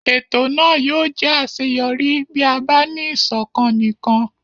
Ètò náà yóò jẹ́ àṣeyọrí bí a bá ní ìṣọ̀kan nìkan.